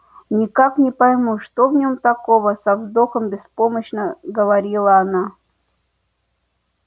никак не пойму что в нем такого со вздохом беспомощно говорила она